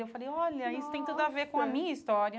E eu falei, olha, nossa isso tem tudo a ver com a minha história.